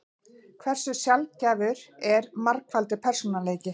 Hversu sjaldgæfur er margfaldur persónuleiki?